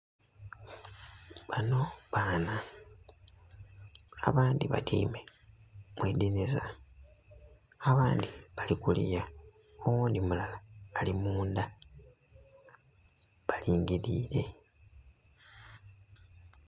Bano baana, abandhi batyaime mu idhinhisa abandhi bali kuliya, oghundhi mulala ali munda. Balingiliire.